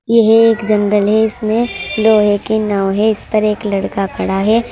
यह एक जंगल है। इसमें लोहे के नाव है। इस पर एक लड़का खड़ा है।